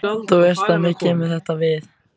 Þú veist að mér kemur þetta við.